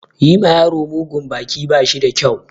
Yi ma yaro mugun baki ba shi da kyau.